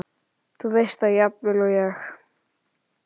Þú veist það jafnvel og ég.